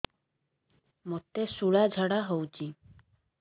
ମୋତେ ଶୂଳା ଝାଡ଼ା ହଉଚି